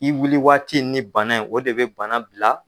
I wuli waati ni bana in o de bɛ bana bila